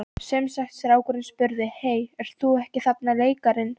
Sem sagt strákurinn spurði: Hey, ert þú ekki þarna leikarinn?